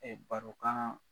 barokan.